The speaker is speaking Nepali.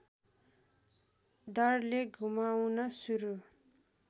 दरले घुमाउन सुरु